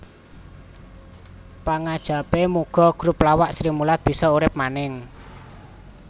Pangajapé muga grup lawak Srimulat bisa urip maning